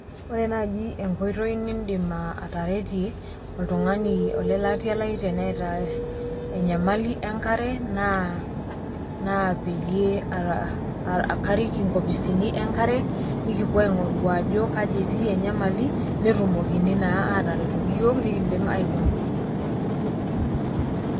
Ore naji enkoitoi nidim ataretie oltung'ani olelatia lai teneeta enyamali enkare naa peyie karik inkopisini enkare, nikipuo aing'oru ajo kaji etii enyamali, netumokini naa atretoki yiok nikidim aiwuang'ie.